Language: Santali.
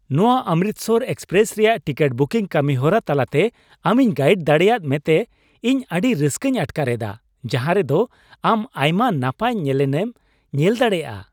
ᱱᱟᱶᱟ 'ᱚᱢᱨᱤᱛᱥᱚᱨ ᱮᱠᱥᱯᱨᱮᱥ' ᱨᱮᱭᱟᱜ ᱴᱤᱠᱤᱴ ᱵᱩᱠᱤᱝ ᱠᱟᱹᱢᱤᱦᱚᱨᱟ ᱛᱟᱞᱟᱛᱮ ᱟᱢᱤᱧ ᱜᱟᱭᱤᱰ ᱫᱟᱲᱮ ᱟᱫ ᱢᱮᱛᱮ ᱤᱧ ᱟᱹᱰᱤ ᱨᱟᱹᱥᱠᱟᱹᱧ ᱟᱴᱠᱟᱨ ᱮᱫᱟ, ᱡᱟᱦᱟᱨᱮ ᱫᱚ ᱟᱢ ᱟᱭᱢᱟ ᱱᱟᱯᱟᱭ ᱧᱮᱱᱮᱞᱮᱢ ᱧᱮᱞ ᱫᱟᱲᱮᱭᱟᱜᱼᱟ ᱾